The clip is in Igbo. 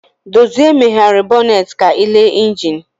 Dozie meghere bọnet ka ịle injin.